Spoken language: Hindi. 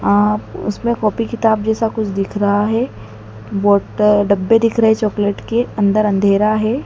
उसमें कॉपी किताब जैसा कुछ दिख रहा है बोतल डब्बे दिख रहे हैं चॉकलेट के अंदर अंधेरा है।